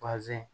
Bazɛn